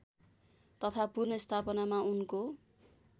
तथा पुनर्स्थापनामा उनको